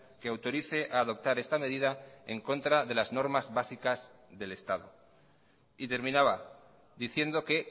que autorice a adoptar esta medida en contra de las normas básicas del estado y terminaba diciendo que